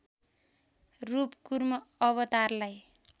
रूप कुर्म अवतारलाई